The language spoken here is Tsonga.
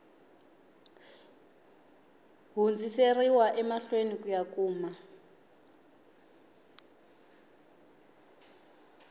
hundziseriwa emahlweni ku ya kuma